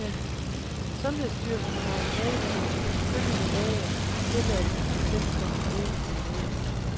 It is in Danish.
Sundhedsstyrelsen har meddelt følgende læger tilladelse til selvstændigt virke som læger.